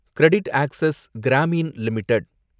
கிரெடிடாக்சஸ் Grameen limited